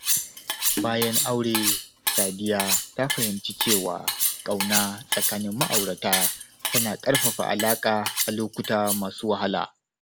Bayan aure, Sadiya ta fahimci cewa ƙauna tsakanin ma’aurata tana ƙarfafa alaka a lokuta masu wahala.